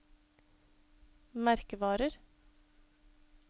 merkevarer